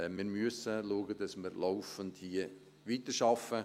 Wir müssen schauen, dass wir hier laufend weiterarbeiten.